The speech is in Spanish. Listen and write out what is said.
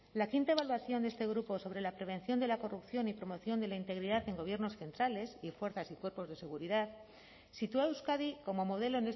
la quinta evaluación de este grupo sobre la prevención de la corrupción y promoción de la integridad en gobiernos centrales y fuerzas y cuerpos de seguridad sitúa a euskadi como modelo